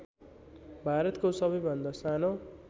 भारतको सबैभन्दा सानो